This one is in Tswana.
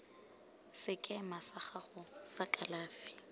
sekema sa gago sa kalafi